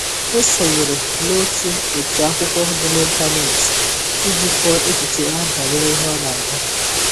Ọ sonyere na otu otu akwụkwọ dị n'ịntanet iji kọọ echiche ya banyere ihe ọ na-agụ